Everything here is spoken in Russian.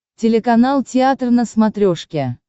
телеканал театр на смотрешке